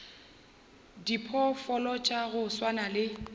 diphoofolo tša go swana le